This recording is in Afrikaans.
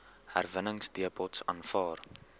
herwinningsdepots aanvaar